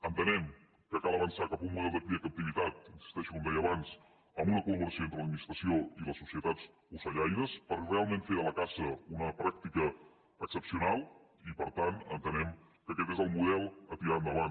entenem que cal avançar cap a un model de cria en captivitat hi insisteixo com deia abans amb una collaboració entre l’administració i les societats ocellaires per realment fer de la caça una pràctica excepcional i per tant entenem que aquest és el model a tirar endavant